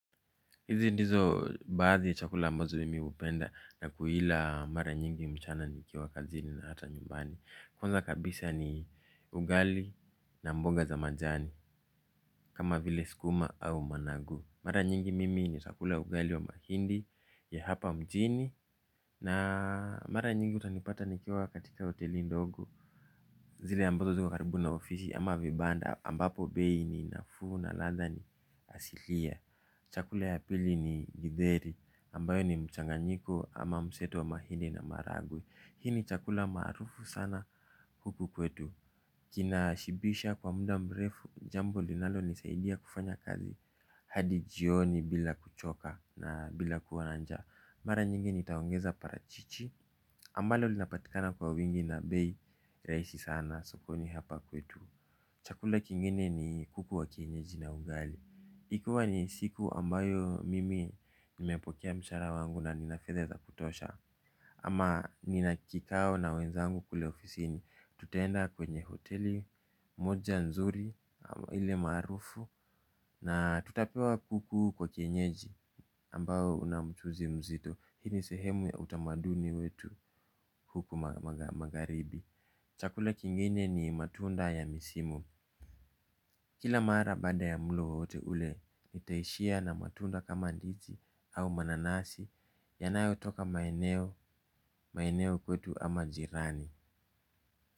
Hizi ndizo baadhi ya chakula ambazo mimi hupenda na kuila mara nyingi mchana nikiwa kazini na hata nyumbani. Kwanza kabisa ni ugali na mboga za majani kama vile sukuma au managu. Mara nyingi mimi nitakula ugali wa mahindi ya hapa mjini na mara nyingi utanipata nikiwa katika hoteli ndogo. Zile ambazo ziko karibu na ofisi ama vibanda ambapo bei ni nafuu na ladha ni asilia. Chakula ya pili ni Githeri ambayo ni mchanganyiko ama mseto wa mahindi na maharagwe. Hii ni chakula maarufu sana huku kwetu. Kina shibisha kwa muda mrefu jambo linalonisaidia kufanya kazi hadi jioni bila kuchoka na bila kuwa na njaa. Mara nyingi nitaongeza parachichi ambalo linapatikana kwa wingi na bei rahisi sana sokoni hapa kwetu. Chakula kingine ni kuku wa kienyeji na ugali ikiwa ni siku ambayo mimi nimepokea mshahara wangu na nina fedha za kutosha. Ama nina kikao na wenzangu kule ofisi ni tutaenda kwenye hoteli moja nzuri ile maarufu na tutapewa kuku wa kienyeji ambao una mchuzi mzito. Hii ni sehemu ya utamaduni wetu huku magharibi. Chakula kingine ni matunda ya misimu. Kila mara baada ya mlo wowote ule, nitaishia na matunda kama ndizi au mananasi yanayotoka maeneo, maeneo kwetu ama jirani.